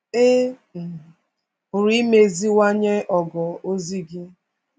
Ị̀ um pụrụ imeziwanye ogo ozi gị?